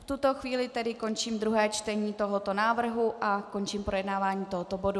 V tuto chvíli tedy končím druhé čtení tohoto návrhu a končím projednávání tohoto bodu.